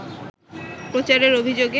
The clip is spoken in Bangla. প্রচারের অভিযোগে